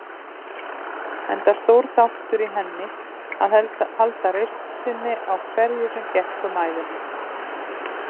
Enda stór þáttur í henni að halda reisn sinni á hverju sem gekk um ævina.